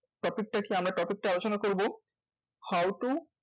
Topic টা কি? আমরা topic টা আলোচনা করবো। how to